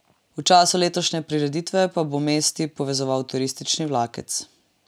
V času letošnje prireditve pa bo mesti povezoval turistični vlakec.